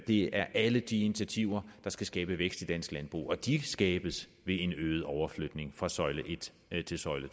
det er alle de initiativer der skal skabe vækst i dansk landbrug og de skabes ved en øget overflytning fra søjle en til søjle